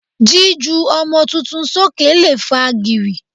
Jíju ọmọ tuntun sókè lè fa gìrì.